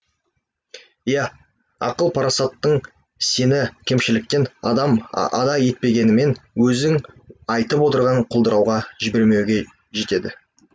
иә ақыл парасатың сені кемшіліктен ада етпегенімен өзің айтып отырған құлдырауға жібермеуге жетеді